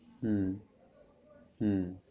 হম হম